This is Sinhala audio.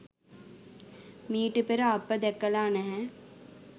මීට පෙර අප දැකලා නැහැ.